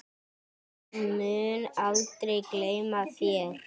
Ég mun aldrei gleyma þér.